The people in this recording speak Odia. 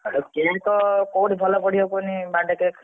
ଆଉ cake କୋଉଠି ଭଲ ପଡିବ କୁହନୀ birthday cake ?